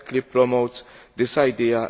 promotes this idea.